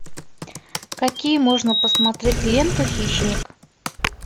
какие можно посмотреть ленту хищник